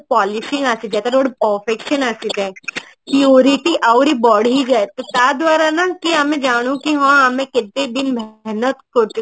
polishing ଆସିଯାଏ ତାର ଗୋଟେ passion ଆସିଯାଏ QWERTY ଆହୁରି ବଢି ଯାଏ ତା ଦ୍ଵାରା ନା କି ଆମେ ଜାଣୁ କି ହଁ ଆମେ କେତେ ଦିନ